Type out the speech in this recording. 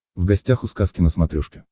в гостях у сказки на смотрешке